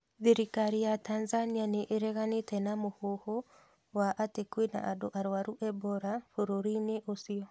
Thirikari ya Tanzania nĩ ĩreganĩte na mũhuhu wa atĩ kwĩna andũ arwaru Ebola bũrũri-inĩ ũcio.